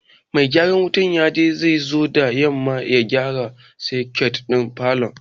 Mai gyaran wuta ya ce zai zo da yamma ya gyara soket din falon.